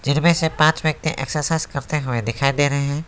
जिनमें से पांच व्यक्ति एक्सरसाइज करते हुए दिखाई दे रहे हैं।